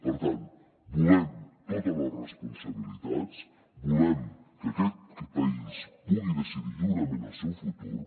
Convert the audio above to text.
per tant volem totes les responsabilitats volem que aquest país pugui decidir lliurement el seu futur